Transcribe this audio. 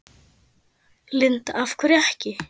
Linda: Af hverju ekki?